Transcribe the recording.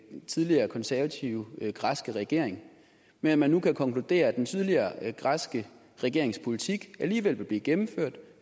den tidligere konservative græske regering men at man nu kan konkludere at den tidligere græske regerings politik alligevel vil blive gennemført